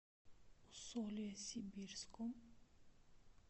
усолье сибирском